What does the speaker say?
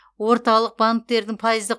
орталық банктердің пайыздық